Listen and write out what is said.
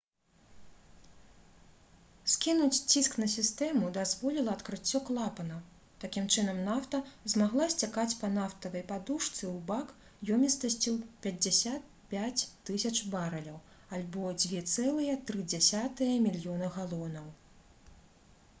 скінуць ціск на сістэму дазволіла адкрыццё клапанаў такім чынам нафта змагла сцякаць па нафтавай падушцы ў бак ёмістасцю 55 000 барэляў альбо 2,3 мільёны галонаў